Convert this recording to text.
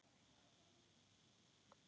Á ég að sækja hann?